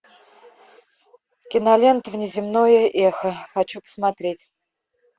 кинолента внеземное эхо хочу посмотреть